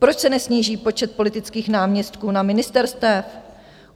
Proč se nesníží počet politických náměstků na ministerstvech?